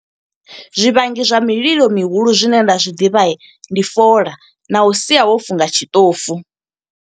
Zwivhangi zwa mililo mihulu zwine nda zwi ḓivha, ndi fola na u sia wo funga tshiṱofu.